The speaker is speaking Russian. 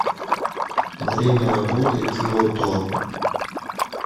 время работы киото